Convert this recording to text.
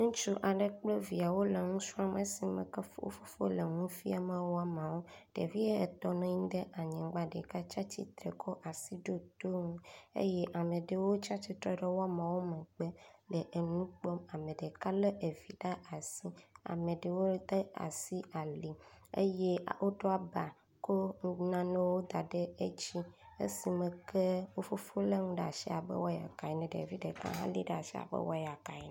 ŋutsu aɖe kple viawo le ŋusrɔm esime ke wó fofo le ŋuafiam woamawo ɖevi etɔ̃ nɔnyi ɖa nyigbã ɖeka tsatsitre kɔ asi ɖo toŋu eye ameɖewo tsatsitre ɖe woamawo megbe le eŋukpɔm ameɖeka le evi ɖe asi ameɖewo de asi ali eye woɖó aba kó nanewo daɖe dzi esime ke.wó fofo le ŋuɖe ɖasi abe wɔyaka ene ɖevi ɖeka hã li ɖe asi abe wɔyaka ene